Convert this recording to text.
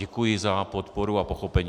Děkuji za podporu a pochopení.